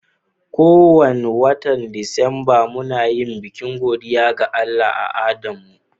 Ko wani watan Disamba, muna yin bikin godiya ga Allah a adan mu.